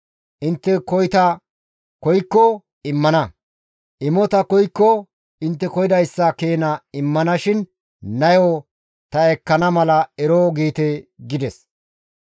Intte koyta koykko immana; imota koykko intte koyidayssa keena ta immana shin nayo ta ekkana mala ero giite» gides.